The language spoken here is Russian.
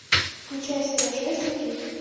включай серия шесть жуки